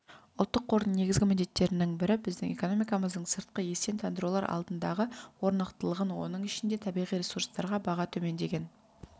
ұлттық қордың негізгі міндеттерінің бірі біздің экономикамыздың сыртқы естен тандырулар алдындағы орнықтылығын оның ішінде табиғи ресурстарға баға төмендеген